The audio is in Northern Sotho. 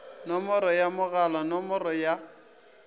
nomoro ya mogala nomoro ya